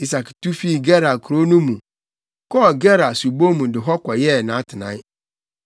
Isak tu fii Gerar kurow no mu, kɔɔ Gerar subon mu de hɔ kɔyɛɛ nʼatenae.